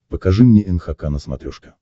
покажи мне нхк на смотрешке